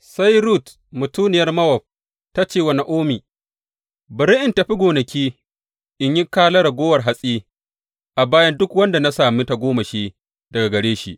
Sai Rut mutuniyar Mowab ta ce wa Na’omi, Bari in tafi gonaki in yi kala raguwar hatsi a bayan duk wanda na sami tagomashi daga gare shi.